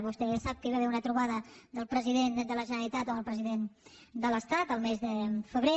vostè sap que hi va haver una trobada del president de la generalitat amb el president de l’estat al mes de febrer